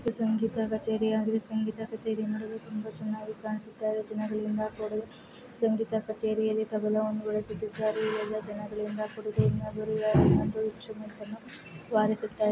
ಇದು ಸಂಗೀತ ಕಚೇರಿ ಆಗಿದೆ ಸಂಗೀತ ಕಚೇರಿ ನಡುವೆ ತುಂಬಾ ಚೆನ್ನಾಗಿ ಕಾಣಿಸುತ್ತಿದೆ ಜನಗಳಿಂದ ಕೂಡಿದೆ ಸಂಗೀತ ಕಚೇರಿಯಲ್ಲಿ ತಬಲ ಒಂದು ಕಡೆ ಜನಗಳಿಂದ ಕೂಡಿದೆ ಇನ್ನೊಬ್ಬರು ವೀಣೆಯನ್ನು ನುಡಿಸುತ್ತಿದ್ದಾರೆ.